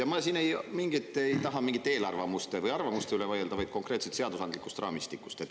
Ma ei taha siin vaielda mingite eelarvamuste või arvamuste üle, vaid konkreetselt seadusandliku raamistiku kohta.